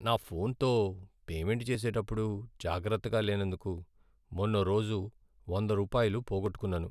నా ఫోన్తో పేమెంట్ చేసేటప్పుడు జాగ్రత్తగా లేనందుకు మొన్నోరోజు వంద రూపాయలు పోగొట్టుకున్నాను.